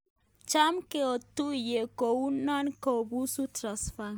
Cham kotinye uindo kobuusi Tsavingrai